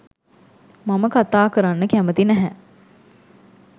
මම කතා කරන්න කැමැති නැහැ.